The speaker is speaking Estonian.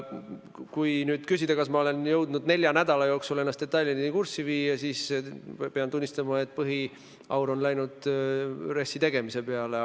Kui aga küsida, kas ma olen jõudnud nelja nädala jooksul ennast detailideni kurssi viia, siis pean tunnistama, et põhiaur on läinud RES-i tegemise peale.